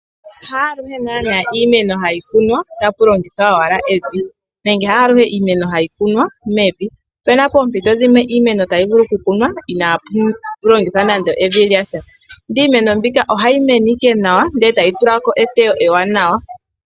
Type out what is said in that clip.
Haaluhe naana iimeno hayi kunwa, tapu longithwa owala evi, nenge haaluhe iimeno hayi kunwa mevi. Opuna poompito dhimwe iimeno tayi vulu okukunwa, inaapu longithwa evi. Ndele iimeno mbika ohayi mene nawa, e tayi tulako eteyo ewanawa.